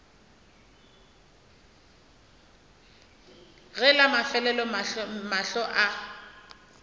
ge la mafelelo mahlo a